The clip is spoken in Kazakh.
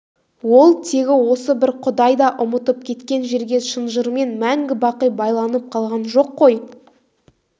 ол тегі осы бір құдай да ұмытып кеткен жерге шынжырмен мәңгі-бақи байланып қалған жоқ қой